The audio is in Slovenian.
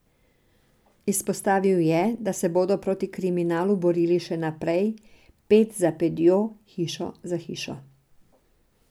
Izpostavil je, da se bodo proti kriminalu borili še naprej ped za pedjo, hišo za hišo.